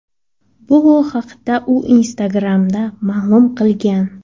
Bu haqda u Instagram’da ma’lum qilgan.